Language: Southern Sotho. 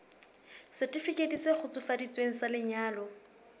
setifikeiti se kgutsufaditsweng sa lenyalo